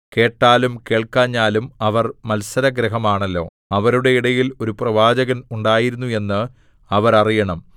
കേട്ടാലും കേൾക്കാഞ്ഞാലും അവർ മത്സരഗൃഹമാണല്ലോ അവരുടെ ഇടയിൽ ഒരു പ്രവാചകൻ ഉണ്ടായിരുന്നു എന്ന് അവർ അറിയണം